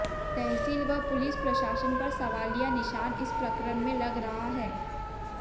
तहसील व पुलिस प्रशासन पर सवालिया निशान इस प्रकरण में लग रहा है